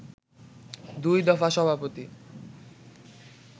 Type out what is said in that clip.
দুই দফা সভাপতি